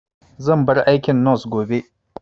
Zan bar aikin nos gobe